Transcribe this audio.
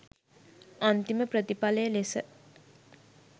අන්තිම ප්‍රථිපලය ලෙස